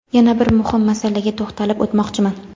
yana bir muhim masalaga to‘xtalib o‘tmoqchiman.